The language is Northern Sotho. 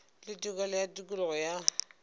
le tokelo ya tokologo ya